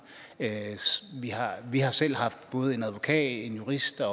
vi har selv haft både en advokat en jurist og